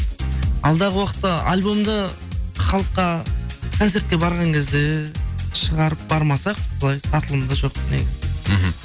алдағы уақытта альбомды халыққа концертке барған кезде шығарып бармасақ былай сатылымда жоқ негізі мхм